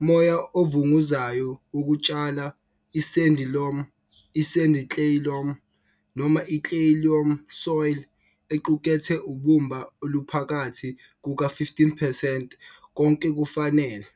moya ovunguzayo wokutshala I-sandy loam, i-sandy clay loam noma i-clay loam soil equkethe ubumba oluphakathi kuka-15 percent konke kufanele.